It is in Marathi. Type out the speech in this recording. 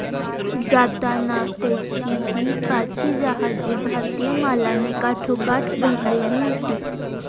जाताना त्याची हि पाची जहाजे भारतीय मालाने काठोकाठ भरलेली होती